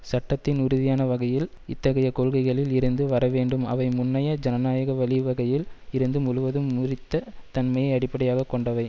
சட்டத்தின் உறுதியான வகையில் இத்தகைய கொள்கைகளில் இருந்து வரவேண்டும் அவை முன்னைய ஜனநாயக வழிவகையில் இருந்து முழுவதும் முறித்த தன்மையை அடிப்படையாக கொண்டவை